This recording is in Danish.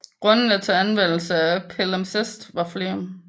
Grundene til anvendelsen af palimsest var flere